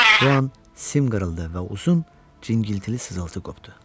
Bu an sim qırıldı və uzun cingiltili sızıltı qopdu.